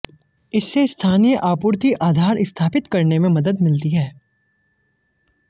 इससे स्थानीय आपूर्ति आधार स्थापित करने में मदद मिलती है